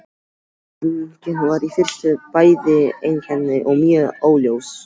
Játningin var í fyrstu bæði einkennileg og mjög óljós.